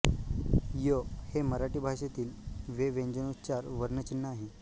य हे मराठी भाषेतील वे व्यंजनोच्चार वर्ण चिन्ह आहे